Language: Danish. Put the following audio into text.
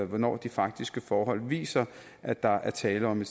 hvornår de faktiske forhold viser at der er tale om